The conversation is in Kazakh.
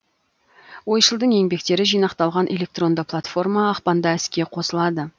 ойшылдың еңбектері жинақталған электронды платформа ақпанда іске қосылады